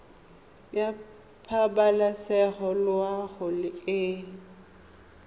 ya pabalesego loago e e